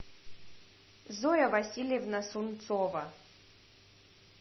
зоя васильевна сунцова